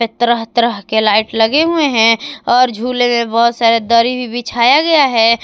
तरह तरह के लाइट लगे हुए हैं और झूले में बहोत सारे दरी भी बिछाया गया है।